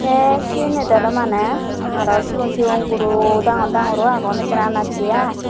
te siyanit ole mane aro sigon sigon guro dangor dangor u agon ekkana andacchi ai.